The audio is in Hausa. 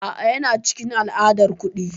A'a, yana cikin al'adar kuɗi.